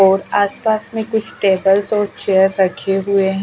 और आसपास में कुछ टेबल्स और चेयर रखे हुए हैं।